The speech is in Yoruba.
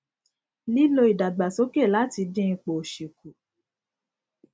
lílo ìdàgbàsókè láti dín ipò òṣì kù